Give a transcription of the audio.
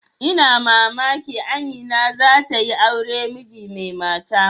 Ina mamaki Amina za ta yi aure miji mai mata.